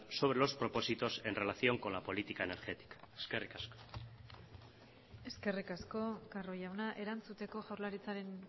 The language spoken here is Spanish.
sobre los propósitos en relación con la política energética eskerrik asko eskerrik asko carro jauna erantzuteko jaurlaritzaren